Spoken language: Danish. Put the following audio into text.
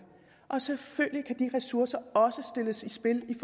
og selvfølgelig kan de ressourcer også sættes i spil i